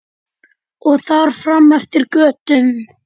Og þar fram eftir götum.